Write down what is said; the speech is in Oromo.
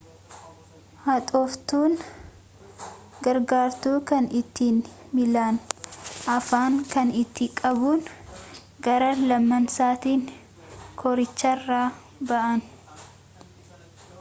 haxooftun gargaartuu kan ittin miilan ofaan kan ittin qabuun gara lamansattin koriicharaa ba'aan